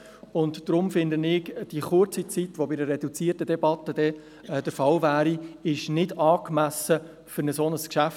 Deshalb halte ich die kurze Zeit, die bei einer reduzierten Debatte zur Verfügung stünde, nicht angemessen für ein solches Geschäft.